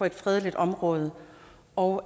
et fredeligt område og